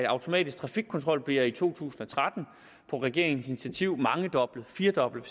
automatiske trafikkontroller bliver i to tusind og tretten på regeringens initiativ mangedoblet firedoblet